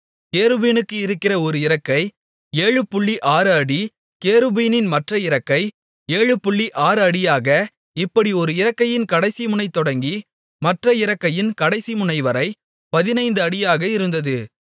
கேருபீனுக்கு இருக்கிற ஒரு இறக்கை 76 அடி கேருபீனின் மற்ற இறக்கை 76 அடியாக இப்படி ஒரு இறக்கையின் கடைசிமுனை தொடங்கி மற்ற இறக்கையின் கடைசி முனைவரை 15 அடியாக இருந்தது